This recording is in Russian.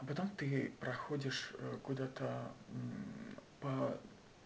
а потом ты проходишь куда-то по